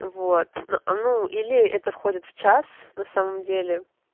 вот ну или это входит в час на самом деле